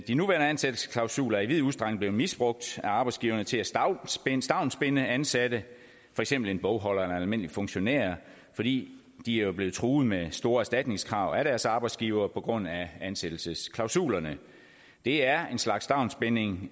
de nuværende ansættelsesklausuler er i vid udstrækning blevet misbrugt af arbejdsgiverne til at stavnsbinde stavnsbinde ansatte for eksempel en bogholder eller en almindelig funktionær fordi de jo er blevet truet med store erstatningskrav af deres arbejdsgivere på grund af ansættelsesklausulerne det er en slags stavnsbinding